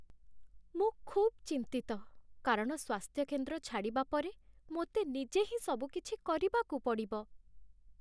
ମୁଁ ଖୁବ୍ ଚିନ୍ତିତ, କାରଣ ସ୍ୱାସ୍ଥ୍ୟକେନ୍ଦ୍ର ଛାଡ଼ିବା ପରେ ମୋତେ ନିଜେ ହିଁ ସବୁକିଛି କରିବାକୁ ପଡ଼ିବ।